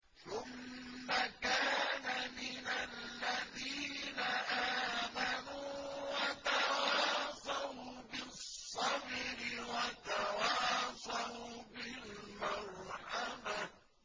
ثُمَّ كَانَ مِنَ الَّذِينَ آمَنُوا وَتَوَاصَوْا بِالصَّبْرِ وَتَوَاصَوْا بِالْمَرْحَمَةِ